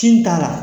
Tin t'a la